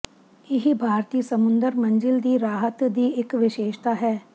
ਇਹ ਭਾਰਤੀ ਸਮੁੰਦਰ ਮੰਜ਼ਿਲ ਦੀ ਰਾਹਤ ਦੀ ਇੱਕ ਵਿਸ਼ੇਸ਼ਤਾ ਹੈ